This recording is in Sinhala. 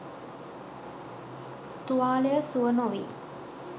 තුවාලය සුව නොවී